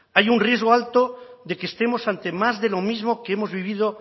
hay un riesgo alto de que estemos ante más de lo mismo que hemos vivido